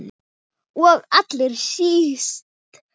Og allra síst minn.